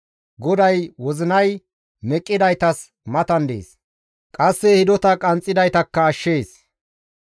GODAY wozinay meqqidaytas matan dees; qasse hidota qanxxidaytakka ashshees.